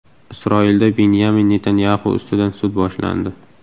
Isroilda Binyamin Netanyaxu ustidan sud boshlandi.